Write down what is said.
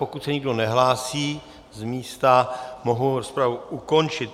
Pokud se nikdo nehlásí z místa, mohu rozpravu ukončit.